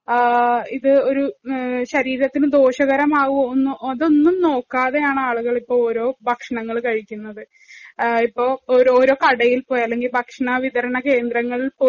ഇത് ഒരു ശരീരത്തിനു ദോഷകരമാകുമോ ഇതൊന്നും നോക്കാതെയാണ്‌ ആളുകള്‍ ഇപ്പൊ ഓരോ ഭക്ഷണങ്ങള്‍ കഴിക്കുന്നത്. ഓരോ കടയില്‍ പോയി അല്ലെങ്കില്‍ ഭക്ഷണ വിതരണ കേന്ദ്രങ്ങളില്‍ പോയി